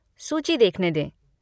सूची देखने दें।